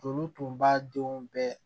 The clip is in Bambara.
Olu tun b'a denw bɛɛ